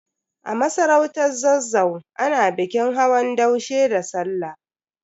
A masarautar Zazzau, ana bikin hawan daushe da Sallah.